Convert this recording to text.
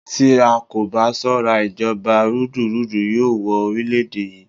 Tí a kò bá ṣọ́ra, ìjọba rúdurùdu yóò wọ orílẹ̀-èdè yí.